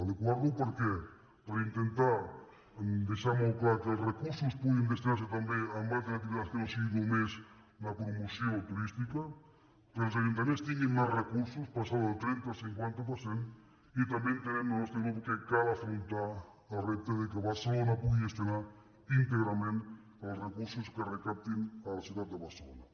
adequar lo per què per intentar deixar molt clar que els recursos puguin destinar se també a altres activitats que no siguin només la promoció turística que els ajuntaments tinguin més recursos passar del trenta al cinquanta per cent i també entenem el nostre grup que cal afrontar el repte que barcelona pugui gestionar íntegrament els recursos que es recaptin a la ciutat de barcelona